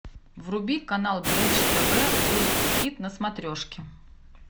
вруби канал бридж тв русский хит на смотрешке